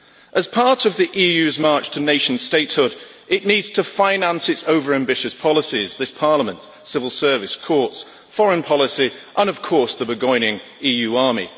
As part of the EU's march to nation statehood, it needs to finance its over-ambitious policies this Parliament, civil service, courts, foreign policy and, of course, the burgeoning EU army.